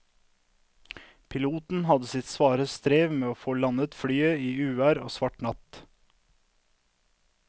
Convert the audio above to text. Piloten hadde sitt svare strev med å få landet flyet i uvær og svart natt.